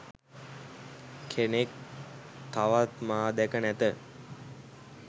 කෙනෙක් තවත් මා දැක නැත.